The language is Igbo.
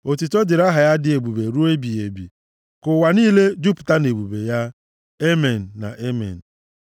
Otuto dịrị aha ya dị ebube ruo ebighị ebi; ka ụwa niile jupụta nʼebube ya. Amen na Amen.